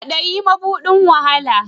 Kwadayi mabudin wahala